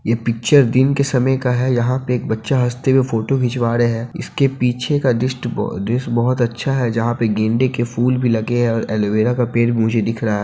ये पिक्चर दिन के समय का है यहाँ पे एक बच्चा हँसते हुए फोटो खिंचवा रहा है इसके पीछे का दृष्ट बहुत दृश्य बहुत अच्छा है जहाँ पे गेंदे के फूल भी लगे हैं और एलो-वेरा का पेड़ भी मुझे दिख रहा है।